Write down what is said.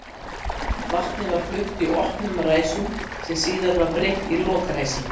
Vatnið var flutt í opnum ræsum sem síðar var breytt í lokræsi.